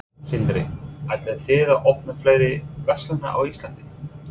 Sindri: Ætlið þið að opna fleiri verslanir á Íslandi?